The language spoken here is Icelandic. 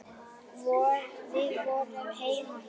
Við vorum heima hjá